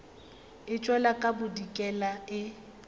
e tšwela ka bodikela e